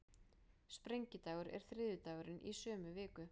Sprengidagur er þriðjudagurinn í sömu viku.